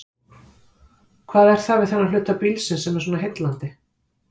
Hvað er það við þennan hluta bílsins sem er svona heillandi?